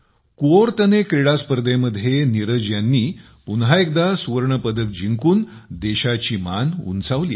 क्यओर्तने क्रीडा स्पर्धेमध्ये नीरज यांनी पुन्हा एकदा सुवर्णपदक जिंकून देशाची मान उंचावली आहे